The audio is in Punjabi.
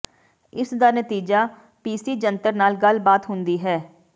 ਇਸ ਦਾ ਨਤੀਜਾ ਪੀਸੀ ਜੰਤਰ ਨਾਲ ਗੱਲਬਾਤ ਹੁੰਦੀ ਹੈ